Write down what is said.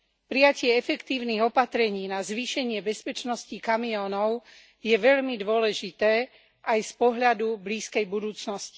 Prijatie efektívnych opatrení na zvýšenie bezpečnosti kamiónov je veľmi dôležité aj z pohľadu blízkej budúcnosti.